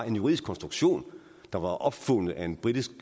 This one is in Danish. en juridisk konstruktion der var opfundet af en britisk